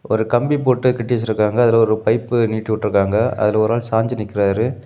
ஒரு கம்பி போட்டு கட்டி வச்சிருக்காங்க அதுல ஒரு பைப்பு நீட்டிவிட்ருக்காங்க அதுல ஒரு ஆள் சாஞ்சி நிக்கிறாரு.